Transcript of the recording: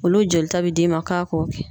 Olu jolita bɛ d'i ma k'a k'o kɛ.